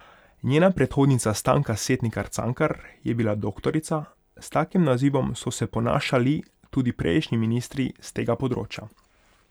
Njena predhodnica Stanka Setnikar Cankar je bila doktorica, s takim nazivom so se ponašali tudi prejšnji ministri s tega področja.